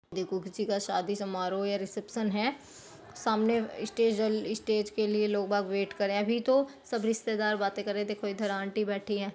देखो किसी का शादी समारोह या रिसेप्शन है सामने स्टेज है । स्टेज के लिए लोगा वेट करे अभी तो सब रिश्तेदार बाते कर रहे है देखो इधर आंटी बैठी है ।